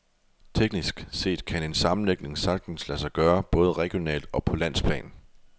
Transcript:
Teknisk set kan en sammenlægning sagtens lade sig gøre, både regionalt og på landsplan.